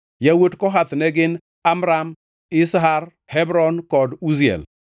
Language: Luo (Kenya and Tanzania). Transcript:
Yawuot Kohath ne gin: Amram, Izhar, Hebron kod Uziel.